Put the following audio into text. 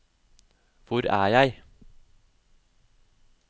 hvor er jeg